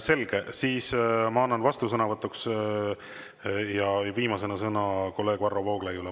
Selge, siis ma annan vastusõnavõtuks viimasena sõna kolleeg Varro Vooglaiule.